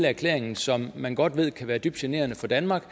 erklæringen som man godt ved kan være dybt generende for danmark